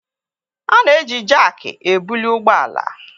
A na-eji jakị ebuli ụgbọ ala.